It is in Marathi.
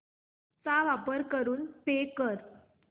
चा वापर करून पे कर